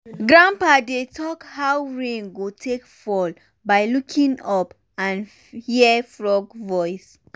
grandpa dey talk how rain go take fall by looking up and hear frog voice.